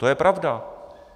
To je pravda.